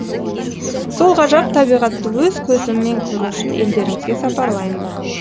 сол ғажап табиғатты өз көзіммен көру үшін елдеріңізге сапарлаймын